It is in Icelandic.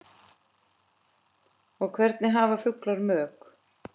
og Hvernig hafa fuglar mök?